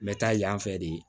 N bɛ taa yan fɛ de